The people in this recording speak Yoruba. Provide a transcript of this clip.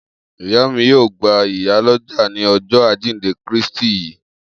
Iya mi yoo gba iya loja ni Ọjọ ajinde Kristi yii.